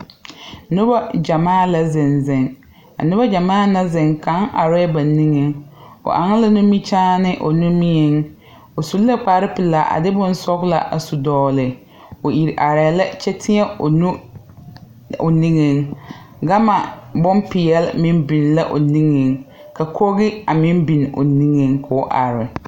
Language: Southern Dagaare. Nobɔ gyɛmaa lɛ la zeŋ zeŋ a nobɔ gyɛmaa na zeŋ kaŋ arɛɛ ba niŋeŋ o aŋ nimikyaane o nimieŋ o su la kpare pilaa de bonsɔglaa a su dɔgle o iri arɛɛ lɛ kyɛ tēɛ o nu o niŋeŋ gamma bonpeɛɛle meŋ biŋ la o niŋeŋ ka koge a meŋ bin o niŋeŋ koo are.